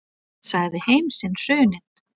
Sagði heim sinn hruninn.